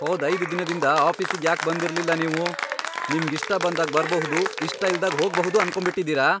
ಹೋದ್ ಐದ್ ದಿನದಿಂದ ಆಫೀಸಿಗ್ ಯಾಕ್ ಬಂದಿರ್ಲಿಲ್ಲ ನೀವು? ನಿಮ್ಗಿಷ್ಟ ಬಂದಾಗ್ ಬರ್ಬಹುದು ಇಷ್ಟ ಇಲ್ದಾಗ್ ಹೋಗ್ಬಹುದು ಅನ್ಕೊಂಡ್ಬಿಟಿದೀರ?